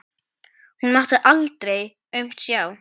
Hún mátti aldrei aumt sjá.